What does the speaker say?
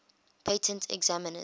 patent examiners